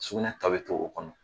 Sugunɛ tɔ bi to, o kɔnɔ.